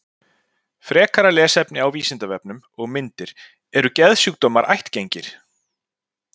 Frekara lesefni á Vísindavefnum og myndir Eru geðsjúkdómar ættgengir?